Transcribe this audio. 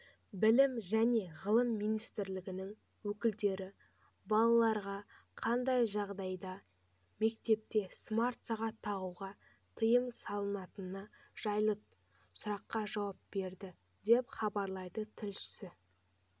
білім және ғылым министрлігінің өкілдері балаларға қандай жағдайларда мектепте смарт-сағат тағуға тыйым салынатыны жайлы сұраққа жауап берді деп хабарлайды тілшісі